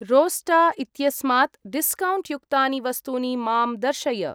रोस्टा इत्यस्मात् डिस्कौण्ट् युक्तानि वस्तूनि मां दर्शय।